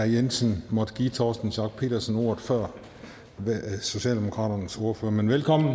jensen måttet give herre torsten schack pedersen ordet før socialdemokraternes ordfører men velkommen